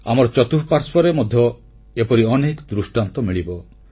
ଆମର ଚତୁଃପାଶ୍ୱର୍ରେ ମଧ୍ୟ ଏପରି ଅନେକ ଦୃଷ୍ଟାନ୍ତ ମିଳିବ